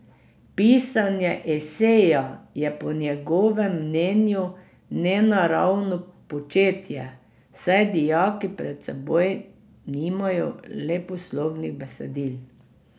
Pisanje eseja je po njegovem mnenju nenaravno početje, saj dijaki pred seboj nimajo leposlovnih besedil.